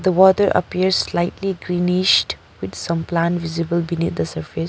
The water appears slightly greenished with some plants visible beneath the surface.